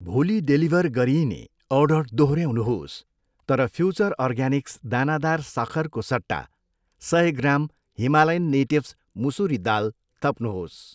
भोलि डेलिभर गरिइने अर्डर दोहोऱ्याउनुहोस् तर फ्युचर अर्ग्यानिक्स दानादार सक्खरको सट्टा सय ग्राम हिमालयन नेटिभ्स मुसुरी दाल थप्नुहोस्।